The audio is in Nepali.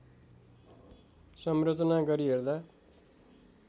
संरचना गरी हेर्दा